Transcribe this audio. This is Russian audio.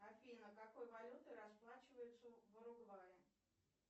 афина какой валютой расплачиваются в уругвае